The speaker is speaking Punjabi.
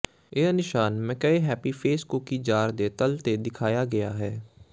ਇਹ ਨਿਸ਼ਾਨ McCoy happy face cookie jar ਦੇ ਤਲ ਤੇ ਦਿਖਾਇਆ ਗਿਆ ਹੈ